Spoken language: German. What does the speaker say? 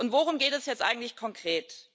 Worum geht es jetzt eigentlich konkret?